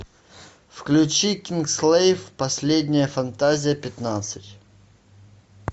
включи кингсглейв последняя фантазия пятнадцать